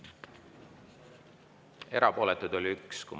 Erapooletuid oli 1.